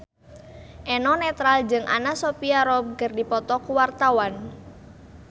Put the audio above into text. Eno Netral jeung Anna Sophia Robb keur dipoto ku wartawan